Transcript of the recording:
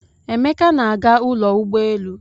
Emeka na-aga ụlọ ụgbọelu.